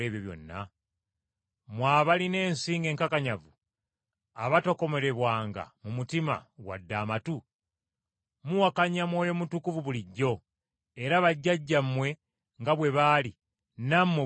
“Mmwe abalina ensingo enkakanyavu, abatakomolebwanga mu mutima wadde amatu, muwakanya Mwoyo Mutukuvu bulijjo; era bajjajjammwe nga bwe baali, nammwe bwe mutyo bwe muli.